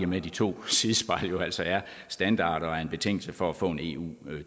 med at de to sidespejle jo altså er standard og er en betingelse for at få en eu